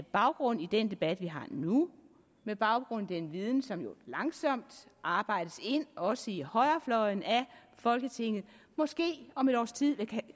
baggrund i den debat vi har nu med baggrund i den viden som jo langsomt arbejdes ind også i højrefløjen i folketinget måske om et års tid